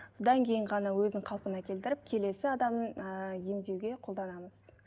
содан кейін ғана өзін қалпына келтіріп келесі адамның ы емдеуге қолданамыз